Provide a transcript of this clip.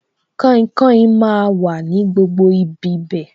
Kainkain máa wà ní gbogbo ibi bẹ̀